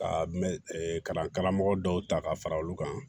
Ka mɛ kalan karamɔgɔ dɔw ta ka fara olu kan